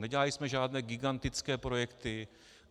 Nedělali jsme žádné gigantické projekty.